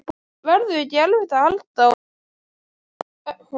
Verður ekki erfitt að halda honum?